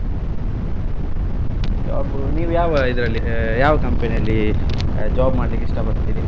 Job ನೀವ್ ಯಾವ್ ಇದ್ರಲ್ಲಿ ಅ ಯಾವ್ company ಯಲ್ಲಿ job ಮಾಡ್ಲಿಕ್ ಇಷ್ಟ ಪಡ್ತಿರಿ?